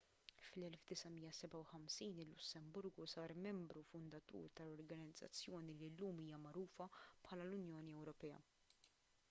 fl-1957 il-lussemburgu sar membru fundatur tal-organizzazzjoni li llum hija magħrufa bħala l-unjoni ewropea